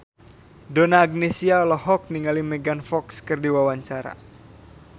Donna Agnesia olohok ningali Megan Fox keur diwawancara